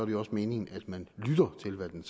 det også meningen at man lytter til hvad den